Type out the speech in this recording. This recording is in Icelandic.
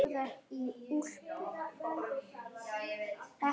Mjög gott með salati.